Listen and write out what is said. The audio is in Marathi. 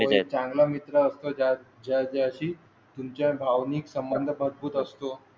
चांगली आहे. जशी तुमच्या भावनिक संबंध मजबूत असतो.